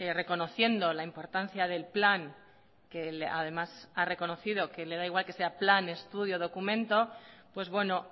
reconociendo la importancia del plan que además ha reconocido que le da igual que sea plan estudio o documento pues bueno